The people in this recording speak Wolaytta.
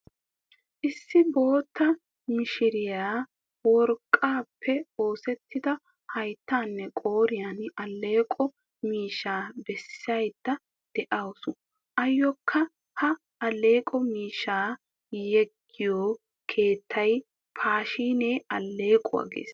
Issi bootta mishiriya worqqappe oosettida hayttanne qooriyaa alleeqo miishaa beesaydda deawusu. Ayokka ha alleeqo miishaa yegiyo keettay paashine alleeqwaa gees.